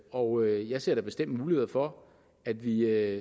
og jeg ser da bestemt muligheder for at vi